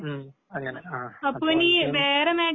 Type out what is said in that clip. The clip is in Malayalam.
ഉം അങ്ങനെ ആഹ്